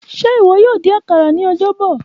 Ṣe iwọ yoo din akara ni Ọjọbọ?